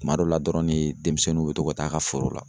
Kuma dɔ la dɔrɔn ne demisɛnninw bɛ to ka taa'a ka foro la.